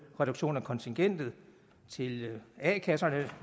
reduktion af kontingentet til a kasserne